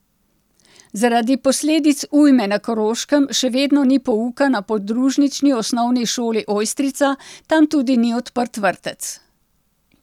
Zaradi posledic ujme na Koroškem še vedno ni pouka na podružnični osnovni šoli Ojstrica, tam tudi ni odprt vrtec.